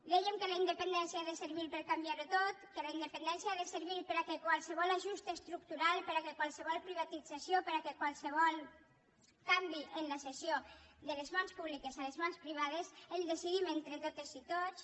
dèiem que la independència ha de servir per canviar ho tot que la independència ha de servir perquè qualsevol ajust estructural perquè qualsevol privatització perquè qualsevol canvi en la cessió de les mans públiques a les mans privades el decidim entre totes i tots